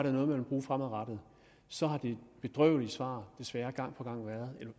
er noget man vil bruge fremadrettet så har det bedrøvelige svar desværre gang på gang